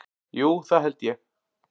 Jú, það held ég